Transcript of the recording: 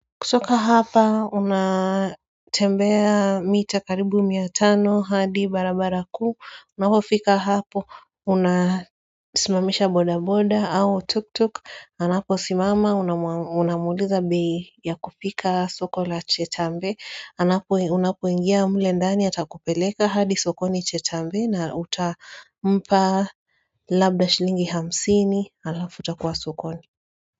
Kutoka hapa, unatembea mita karibu mia tano hadi barabara kuu, unapofika hapo, unasimamisha boda boda au tuk tuk, anaposimama, unamuliza bei ya kufika soko la chetambe, unapoingia mle ndani atakupeleka hadi sokoni chetambe na utampa labda shilingi hamsini, alafuta kuwa soko ni.